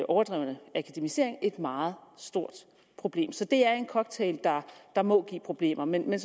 overdrevne akademisering er et meget stort problem så det er en cocktail der må give problemer men jeg